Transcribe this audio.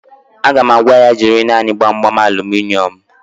Aga m agwa ya, jiri naanị Gbamgbam aluminịọmụ